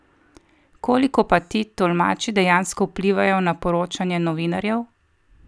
Koliko pa ti tolmači dejansko vplivajo na poročanje novinarjev?